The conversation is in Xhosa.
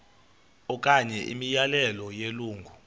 okanye imiyalelo yelungu